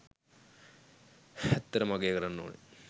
ඇත්තටම අගය කරන්න ඕන